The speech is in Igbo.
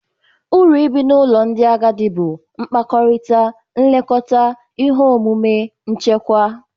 Uru nke ibi n'ụlọ ndị agadi bụ mkpakọrịta, nlekọta, ihe omume, nchekwa.